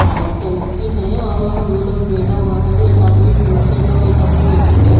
अ tent भी है और वह दो लोग बैठा हुआ है एक आदमी पिंक शर्ट और एक आदमी व्हाइट शर्ट पहे --